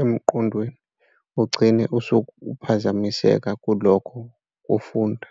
emqondweni ugcine usuphazamiseka kulokhu kufunda.